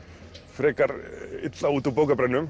frekar illa út úr